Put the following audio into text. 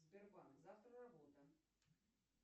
сбербанк завтра работа